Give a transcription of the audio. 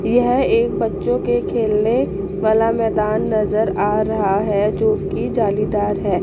यह एक बच्चों के खेलने वाला मैदान नजर आ रहा है जो की जालीदार है।